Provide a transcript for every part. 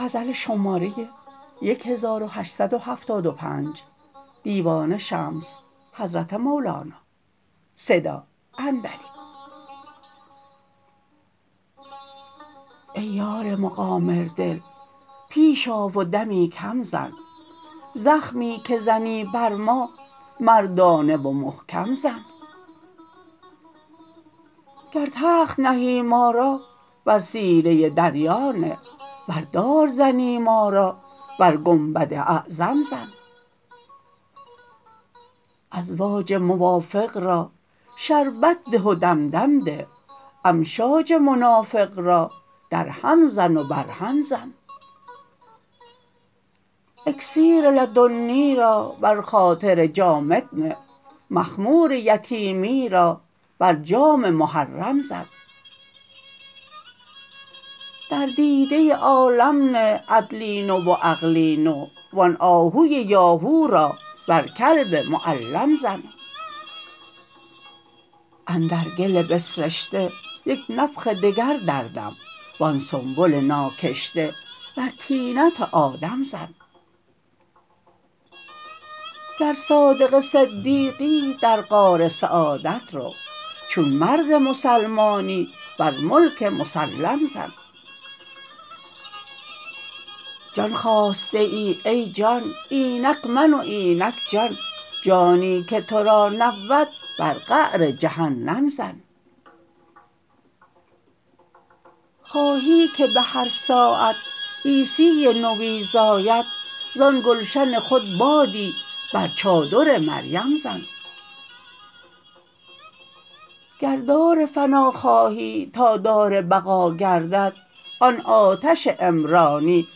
ای یار مقامردل پیش آ و دمی کم زن زخمی که زنی بر ما مردانه و محکم زن گر تخت نهی ما را بر سینه دریا نه ور دار زنی ما را بر گنبد اعظم زن ازواج موافق را شربت ده و دم دم ده امشاج منافق را درهم زن و برهم زن اکسیر لدنی را بر خاطر جامد نه مخمور یتیمی را بر جام محرم زن در دیده عالم نه عدلی نو و عقلی نو وان آهوی یاهو را بر کلب معلم زن اندر گل بسرشته یک نفخ دگر دردم وان سنبل ناکشته بر طینت آدم زن گر صادق صدیقی در غار سعادت رو چون مرد مسلمانی بر ملک مسلم زن جان خواسته ای ای جان اینک من و اینک جان جانی که تو را نبود بر قعر جهنم زن خواهی که به هر ساعت عیسی نوی زاید زان گلشن خود بادی بر چادر مریم زن گر دار فنا خواهی تا دار بقا گردد آن آتش عمرانی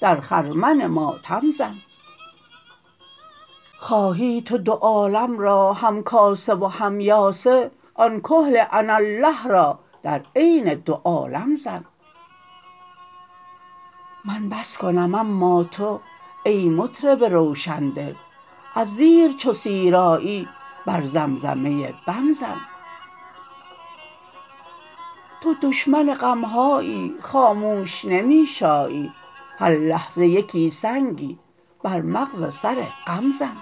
در خرمن ماتم زن خواهی تو دو عالم را همکاسه و هم یاسه آن کحل اناالله را در عین دو عالم زن من بس کنم اما تو ای مطرب روشن دل از زیر چو سیر آیی بر زمزمه بم زن تو دشمن غم هایی خاموش نمی شایی هر لحظه یکی سنگی بر مغز سر غم زن